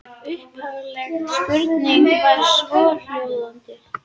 Upphafleg spurning var svohljóðandi: